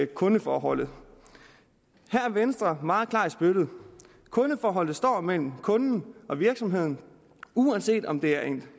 kundeforholdet her er venstre meget klar i spyttet kundeforholdet står mellem kunden og virksomheden uanset om det er